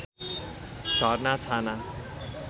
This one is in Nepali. झरना छाना